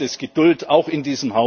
Da braucht es Geduld, auch in